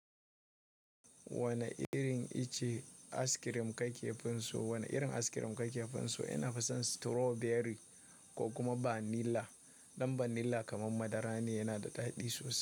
Wanne irin ice cream ka ke finso? Wane irin askirim ka ke finso? Na fi son strawberry ko kuma vanilla. Ɗan vanilla kamar madara ne, yana da daɗi sosai.